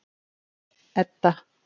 Edda